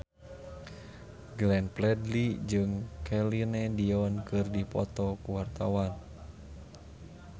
Glenn Fredly jeung Celine Dion keur dipoto ku wartawan